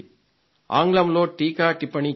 ఆంగ్లంలో టీకాటిప్పణీ చెప్పింది